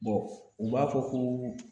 u b'a fɔ ko